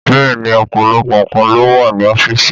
Bẹ́ẹ̀ni, ọ̀pọ̀lọpọ̀ nkan ló wà ní ọ́fíìsì.